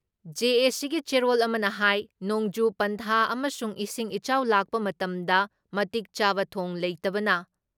ꯖꯦ.ꯑꯦ.ꯁꯤꯒꯤ ꯆꯦꯔꯣꯜ ꯑꯃꯅ ꯍꯥꯏ ꯅꯣꯡꯖꯨ ꯄꯟꯊꯥ ꯑꯃꯁꯨꯡ ꯏꯁꯤꯡ ꯏꯆꯥꯎ ꯂꯥꯛꯄ ꯃꯇꯝꯗ ꯃꯇꯤꯛꯆꯥꯕ ꯊꯣꯡ ꯂꯩꯇꯕꯅ